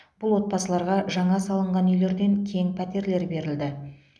бұл отбасыларға жаңа салынған үйлерден кең пәтерлер берілді